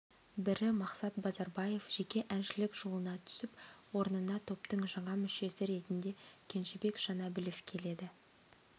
бірі мақсат базарбаев жеке әншілік жолына түсіп орнына топтың жаңа мүшесі ретінде кенжебек жанәбілов келеді